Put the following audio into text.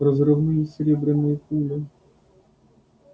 разрывные серебряные пули